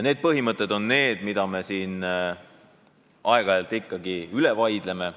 Need põhimõtted on need, mida me siin aeg-ajalt ikkagi üle vaidleme.